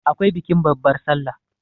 akwai bikin babbar sallah